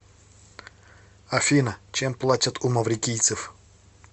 афина чем платят у маврикийцев